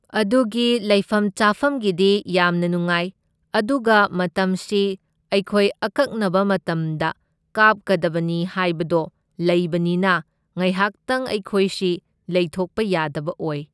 ꯑꯗꯨꯒꯤ ꯂꯩꯐꯝ ꯆꯥꯐꯝꯒꯤꯗꯤ ꯌꯥꯝꯅ ꯅꯨꯡꯉꯥꯏ, ꯑꯗꯨꯒ ꯃꯇꯝꯁꯤ ꯑꯩꯈꯣꯏ ꯑꯀꯛꯅꯕ ꯃꯇꯝꯗ ꯀꯥꯞꯀꯗꯕꯅꯤ ꯍꯥꯏꯕꯗꯣ ꯂꯩꯕꯅꯤꯅ ꯉꯥꯏꯍꯥꯛꯇꯪ ꯑꯩꯈꯣꯏꯁꯤ ꯂꯩꯊꯣꯛꯄ ꯌꯥꯗꯕ ꯑꯣꯏ꯫